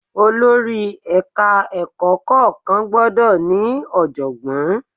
Olórí Ẹ̀ka ẹ̀kọ́ kọ̀ọ̀kan gbọ́dọ̀ ní ọ̀jọ̀gbọ́n.